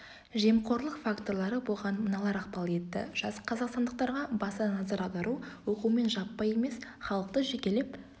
жемқорлық факторлары бұған мыналар ықпал етті жас қазақстандықтарға баса назар аудару оқумен жаппай емес халықты жекелеп